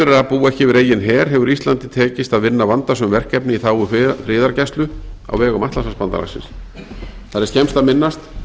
að búa ekki yfir eigin her hefur íslandi tekist að vinna vandasöm verkefni í þágu friðargæslu á vegum atlantshafsbandalagsins þar er skemmst að minnast